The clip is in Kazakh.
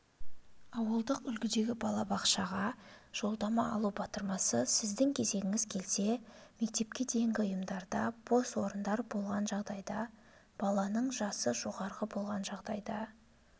ауылдық үлгідегі балабақшаға жолдама алу батырмасы сіздің кезегіңіз келсе мектепке дейінгі ұйымдарда бос орындар болған жағдайда баланың жасы жоғары болған жағдайда